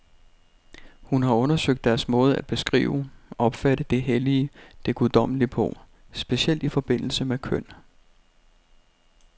Hun har undersøgt deres måde at beskrive, opfatte det hellige, det guddommelige på, specielt i forbindelse med køn.